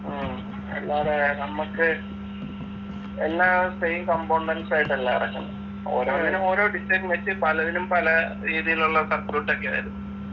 ഉം അല്ലാതെ നമ്മക്ക് എല്ലാം same components ആയിട്ടല്ല ഇറക്കുന്നെ ഓരോന്നിനും ഓരോ design വെച്ച് പലതിനും പല രീതിയിലുള്ള circuit ഒക്കെ വരും